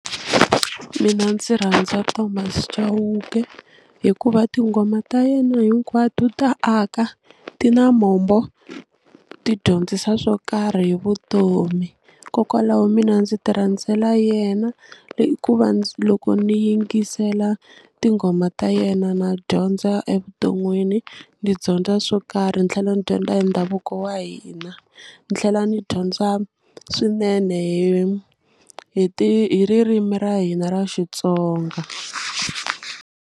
Mina ndzi rhandza Thomas Chauke hikuva tinghoma ta yena hinkwato ta aka ti na mombo ti dyondzisa swo karhi hi vutomi hikokwalaho mina ndzi ti rhandzela yena hikuva loko ni yingisela tinghoma ta yena na dyondza evuton'wini ni dyondza swo karhi ni tlhela ni dyondza hi ndhavuko wa hina ni tlhela ni dyondza swinene hi hi hi ririmi ra hina ra Xitsonga.